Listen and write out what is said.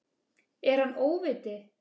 Er hann óviti?